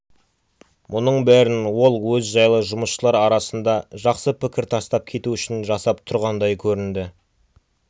мұның бәрін ол өзі жайлы жұмысшылар арасында жақсы пікір тастап кету үшін жасап тұрғандай көрінді